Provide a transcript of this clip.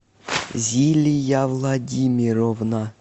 зилия владимировна